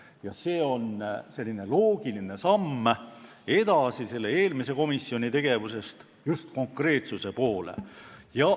Ja see on eelmise komisjoni tegevusest loogiline samm edasi just konkreetsuse poole.